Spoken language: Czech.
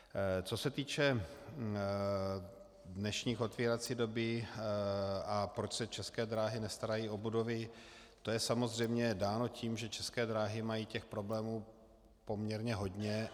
Co se týče dnešní otvírací doby a proč se České dráhy nestarají o budovy, to je samozřejmě dáno tím, že České dráhy mají těch problémů poměrně hodně.